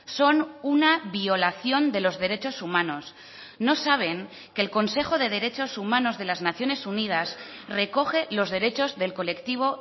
son una violación de los derechos humanos no saben que el consejo de derechos humanos de las naciones unidas recoge los derechos del colectivo